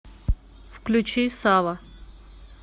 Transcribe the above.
включи сава